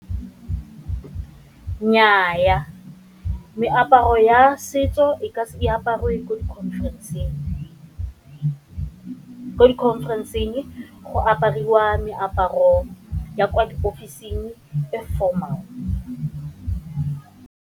Nnyaa, meaparo ya setso e aparwe ko di-conference-ng, ko di-conference-ng go apariwa meaparo ya kwa diofising e formal.